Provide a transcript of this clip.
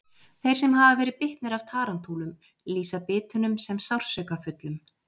Þeir sem hafa verið bitnir af tarantúlum lýsa bitunum sem sársaukafullum.